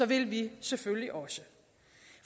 vi selvfølgelig også